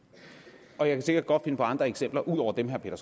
og jeg kan sikkert godt finde på andre eksempler ud over dem herre peter